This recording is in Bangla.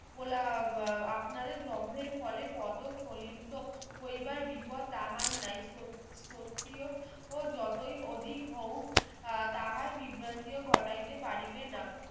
কোলা আহ আপনাদের জর্মের ফলে পদ ফলন্ত হইবার বিপদ তাহার নাই খুব ক্ষত্রিয় ও যতই অধিক হও আহ তাহার বিভ্রান্তিও ঘটাইতে পারিবে না